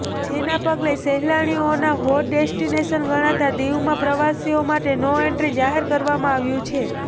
જેના પગલે સહેલાણીઓનું હોટ ડેસ્ટીનેશન ગણાતા દીવમાં પ્રવાસીઓ માટે નો એન્ટ્રી જાહેર કરવામાં આવ્યું છે